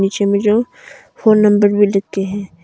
पीछे में जो फोन नंबर में लिख के है।